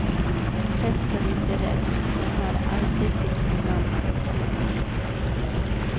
Trött och lite rädd, hon har alltid tyckt illa om sjukhus.